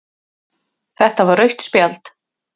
Þetta var rautt spjald